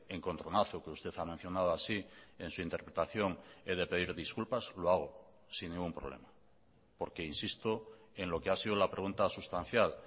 encontronazo que usted ha mencionado así en su interpretación he de pedir disculpas lo hago sin ningún problema porque insisto en lo que ha sido la pregunta sustancial